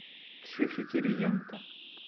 ксюхе кириенко